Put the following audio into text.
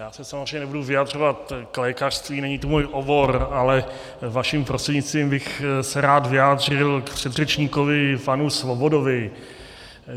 Já se samozřejmě nebudu vyjadřovat k lékařství, není to můj obor, ale vaším prostřednictvím, bych se rád vyjádřil k předřečníkovi panu Svobodovi.